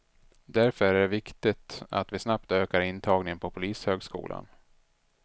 Därför är det viktigt att vi snabbt ökar intagningen på polishögskolan.